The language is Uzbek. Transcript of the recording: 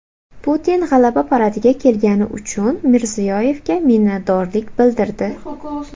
Putin G‘alaba paradiga kelgani uchun Mirziyoyevga minnatdorlik bildirdi .